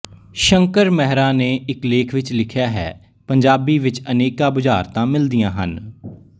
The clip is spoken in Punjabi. ਸ਼ੰਕਰ ਮਹਿਰਾ ਨੇ ਇੱਕ ਲੇਖ ਵਿੱਚ ਲਿਖਿਆ ਹੈ ਪੰਜਾਬੀ ਵਿੱਚ ਅਨੇਕਾਂ ਬੁਝਾਰਤਾਂ ਮਿਲਦੀਆਂ ਹਨ